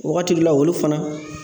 Wagati la, olu fana